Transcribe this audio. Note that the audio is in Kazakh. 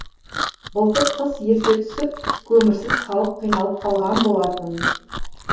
былтыр қыс ерте түсіп көмірсіз халық қиналып қалған болатын